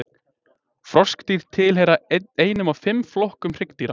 Froskdýr tilheyra einum af fimm flokkum hryggdýra.